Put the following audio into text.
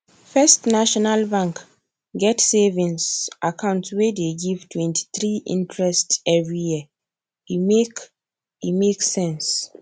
first national bank get savings account wey dey give 23 interest every year e make e make sense